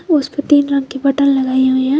उसपे तीन रंग के बटन लगाइ हुई है।